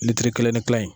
kelen ni kila yen